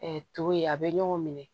to ye a bɛ ɲɔgɔn minɛ